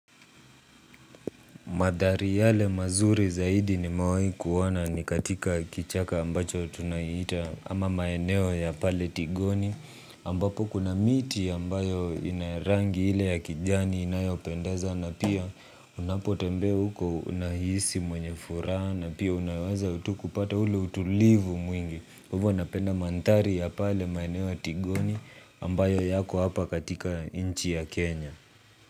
Madhari yale mazuri zaidi nimewai kuona ni katika kichaka ambacho tunaihita ama maeneo ya pale Tigoni ambapo kuna miti ambayo inarangi ile ya kijani inayopendaza na pia unapo tembeo huko unahisi mwenye furaha na pia unaweza tu kupata ule utulivu mwingi. Uvo napenda mandhari ya pale maeneo ya Tigoni ambayo yako hapa katika inchi ya Kenya.